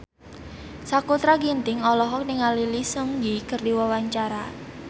Sakutra Ginting olohok ningali Lee Seung Gi keur diwawancara